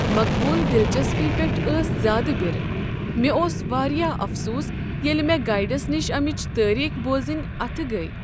مقبول دِچسپی پٮ۪ٹھ ٲس زیٛادٕ برٕ، مےٚ اوس واریاہ افسوٗس ییٚلہ مےٚ گایڈس نش امچ تٲریخ بوزٕنۍ اتھٕ گٔیہ۔